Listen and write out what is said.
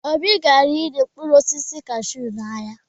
Obi gara ire mkpụrụ osisi kashuu n'ahịa.